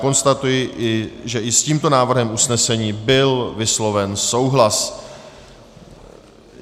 Konstatuji, že i s tímto návrhem usnesení byl vysloven souhlas.